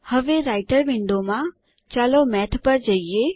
હવે રાઈટર વિન્ડોમાંચાલો મેથ ઉપર જઈએ